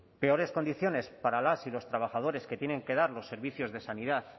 peores condiciones para las y los trabajadores que tienen que dar los servicios de sanidad